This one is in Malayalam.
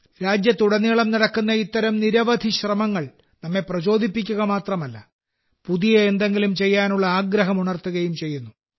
രാജ്യത്തുടനീളം നടക്കുന്ന ഇത്തരം നിരവധി ശ്രമങ്ങൾ നമ്മെ പ്രചോദിപ്പിക്കുക മാത്രമല്ല പുതിയ എന്തെങ്കിലും ചെയ്യാനുള്ള ആഗ്രഹം ഉണർത്തുകയും ചെയ്യുന്നു